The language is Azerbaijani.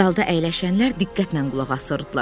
Zalda əyləşənlər diqqətlə qulaq asırdılar.